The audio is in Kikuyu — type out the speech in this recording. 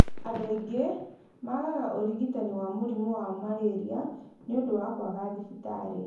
Andũ aingĩ maagaga ũrigitani wa mũrimũ wa malaria nĩ ũndũ wa kwaga thibitarĩ.